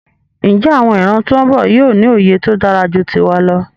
Njé àwon ìran tón bò yío ní òye tódáraju tiwa lọ?